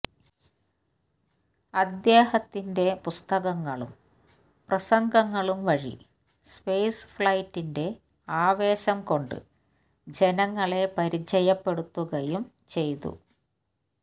അദ്ദേഹത്തിന്റെ പുസ്തകങ്ങളും പ്രസംഗങ്ങളും വഴി സ്പേസ് ഫ്ളൈറ്റിന്റെ ആവേശം കൊണ്ട് ജനങ്ങളെ പരിചയപ്പെടുത്തുകയും ചെയ്തു